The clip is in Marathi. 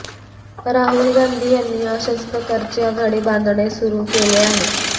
राहुल गांधी यांनी अशाच प्रकारची आघाडी बांधणे सुरू केले आहे